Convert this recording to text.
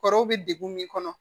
Kɔrɔw bɛ degun min kɔnɔ